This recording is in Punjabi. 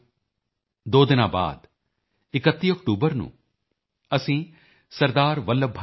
ਮੇਰੇ ਪਿਆਰੇ ਦੇਸ਼ ਵਾਸੀਓ ਦੋ ਦਿਨ ਬਾਅਦ 31 ਅਕਤੂਬਰ ਨੂੰ ਅਸੀਂ ਸ